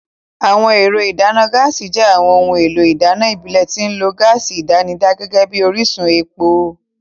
Àwọn ẹ̀rọ ìdáná gáàsì jẹ́ àwọn ohun èlò ìdáná ìbílẹ̀ tí wọ́n ń lo gáàsì àdánidá gẹ́gẹ́ bí orísun epo.